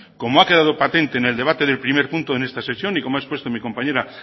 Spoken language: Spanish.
como ha quedado patente en el debate del primer punto de esta sección y como ha expuesto mi compañera